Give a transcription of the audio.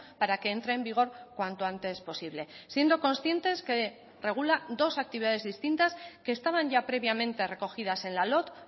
para que entre en vigor cuanto antes posible siendo conscientes que regula dos actividades distintas que estaban ya previamente recogidas en la lott